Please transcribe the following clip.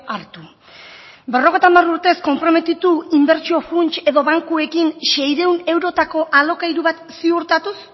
hartu berrogeita hamar urtez konprometitu inbertsio funts edo bankuekin seiehun eurotako alokairu bat ziurtatuz